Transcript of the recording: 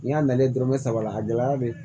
N'i y'a nalen dɔrɔnmɛ saba la a gɛlɛya be